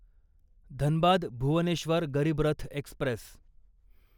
Dhanbad Bhubaneswar Garib Rath Express